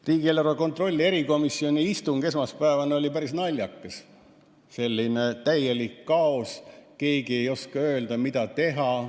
Riigieelarve kontrolli erikomisjoni istung esmaspäeval oli päris naljakas, täielik kaos, keegi ei osanud öelda, mida teha.